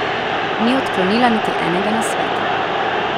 Ni odklonila niti enega nasveta.